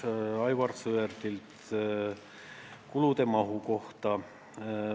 Aivar Sõerd küsis kulude mahu kohta.